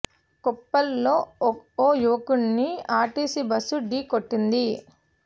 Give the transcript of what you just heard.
కొప్పల్ లో ఓ యువకుణ్ని ఆర్టీసీ బస్సు ఢీకొట్టింది